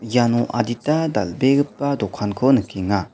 iano adita dal·begipa dokanko nikenga.